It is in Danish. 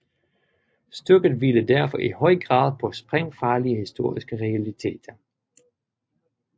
Stykket hviler derfor i høj grad på sprængfarlige historiske realiteter